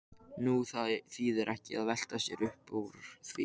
Nú það þýðir ekki að velta sér uppúr því.